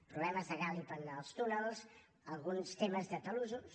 problemes de gàlib en els túnels alguns temes de talussos